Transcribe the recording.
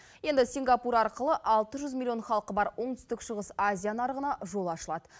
енді сингапур арқылы алты жүз миллион халқы бар оңтүстік шығыс азия нарығына жол ашылады